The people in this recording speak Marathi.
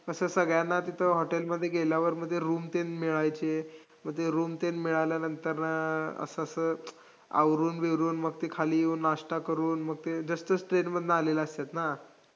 कसं सगळ्यांना ते hotel मध्ये गेल्यावर म्हणजे room तेन मिळायचे, मग ते room तेन मिळाल्यानंतर असं असं आवरून-बिवरून मग ते खाली येऊन नाश्ता करून मग ते दुसऱ्या state मधनं आलेलं असतंय ना.